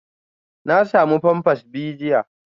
Na samu pampers biyu jiya